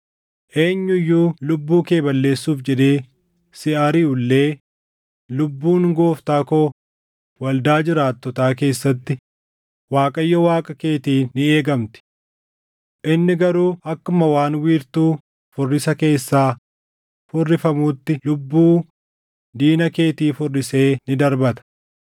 Eenyu iyyuu lubbuu kee balleessuuf jedhee si ariʼu illee, lubbuun gooftaa koo waldaa jiraattotaa keessatti Waaqayyo Waaqa keetiin ni eegamti. Inni garuu akkuma waan wiirtuu furrisa keessaa furrifamuutti lubbuu diina keetii furrisee ni darbata.